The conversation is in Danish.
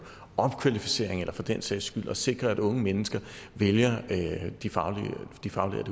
opkvalificering eller for den sags skyld at sikre at unge mennesker vælger de faglige